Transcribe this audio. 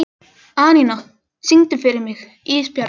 Anína, syngdu fyrir mig „Ísbjarnarblús“.